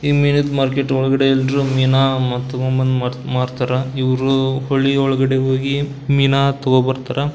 ಈ ಮಿನಿದ್ ಮಾರ್ಕೆಟ್ ಒಳಗಡೆ ಎಲ್ಲರು ಮೀನಾ ತಕೊಂಬಂದ್ ಮಾರ್ತಾರ ಇವ್ರು ಹೋಳಿ ಒಳಗಡೆ ಹೋಗಿ ಮೀನಾ ತಗೋಬರ್ತಾರಾ.